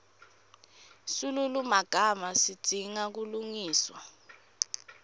silulumagama sidzinga kulungiswa